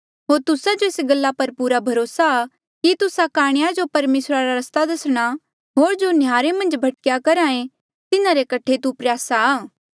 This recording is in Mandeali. होर तुस्सा जो एस गल्ला पर पूरा भरोसा कि तुस्सा काणेया जो परमेसरा रा रस्ता दसणा होर जो नह्यारे मन्झ भटक्या करहा ऐें तिन्हारे कठे तू प्रयासा आ